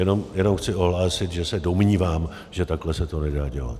Jenom chci ohlásit, že se domnívám, že takhle se to nedá dělat.